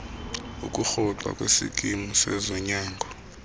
ukurhoxa kwisikimu sezonyango